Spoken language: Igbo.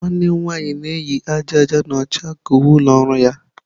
Nwanne m nwanyị na-eyi aja aja na ọcha ka uwe ụlọ ọrụ ya.